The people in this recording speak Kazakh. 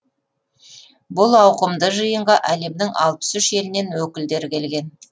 бұл ауқымды жиынға әлемнің алпыс үш елінен өкілдер келген